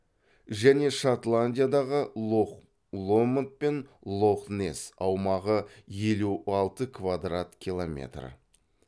және шотландиядағы лох ломонд пен лох несс аумағы елу алты квадрат километр